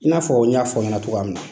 I n'a fɔ n y'a fɔ aw ɲɛna cogoya min na.